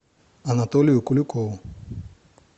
анатолию куликову